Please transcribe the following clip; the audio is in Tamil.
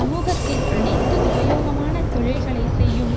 சமூகத்தில் அனைத்து உபயோகமான தொழில்களைச் செய்யும்